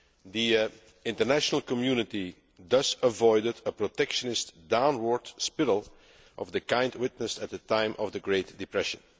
The international community thus avoided a protectionist downward spiral of the kind witnessed at the time of the Great Depression.